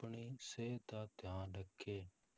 ਆਪਣੀ ਸਿਹਤ ਦਾ ਧਿਆਨ ਰੱਖੇ।